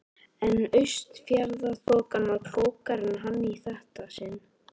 En Austfjarðaþokan var klókari en hann í þetta sinn.